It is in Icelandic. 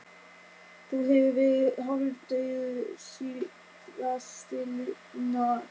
Þú hefur verið hálfdaufur síðastliðna daga